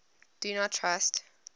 do not trust